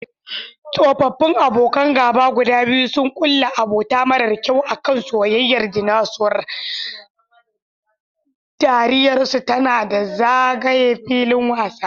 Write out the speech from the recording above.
Tsofaffin abokan gaba guda biyu sun kulla abota mara kyau a kan soyayyar Dinosaur, dariyarsu tana ta zagaye filin wasa.